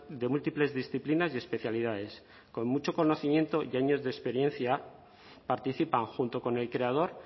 de múltiples disciplinas y especialidades con mucho conocimiento y años de experiencia participan junto con el creador